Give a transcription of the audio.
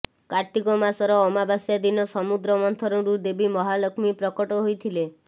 କାର୍ତ୍ତିକ ମାସର ଅମାବାସ୍ୟା ଦିନ ସମୁଦ୍ର ମନ୍ଥନରୁ ଦେବୀ ମହାଲକ୍ଷ୍ମୀ ପ୍ରକଟ ହୋଇଥିଲେ